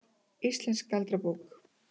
Íslensk galdrabók.